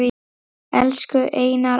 Elsku Einar afi.